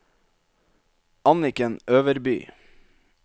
Anniken Øverby